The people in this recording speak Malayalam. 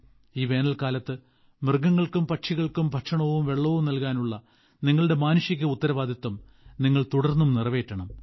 ഈ വേനൽക്കാലത്ത് മൃഗങ്ങൾക്കും പക്ഷികൾക്കും ഭക്ഷണവും വെള്ളവും നൽകാനുള്ള നിങ്ങളുടെ മാനുഷിക ഉത്തരവാദിത്തം നിങ്ങൾ തുടർന്നും നിറവേറ്റണം